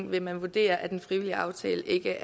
vil vurdere at en frivillig aftale ikke